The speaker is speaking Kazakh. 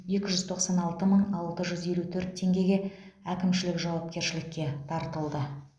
екі жүз тоқсан алты мың алты жүз елу төрт теңгеге әкімшілік жауапкершілікке тартылды